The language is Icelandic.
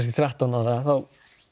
þrettán ára þá